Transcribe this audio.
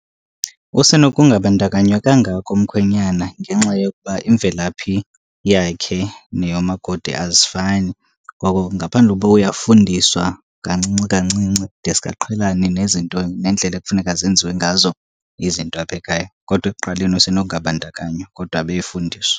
Usenokungabandakanywa kangako umkhwenyana ngenxa yokuba imvelaphi yakhe neyomakoti azifani. Ngoko ngaphandle uba uyafundiswa kancinci kancinci deske aqhelane nezinto nendlela ekufuneka zenziwe ngazo izinto apha ekhaya. Kodwa ekuqaleni usenokungabandakanywa kodwa abe efundiswa.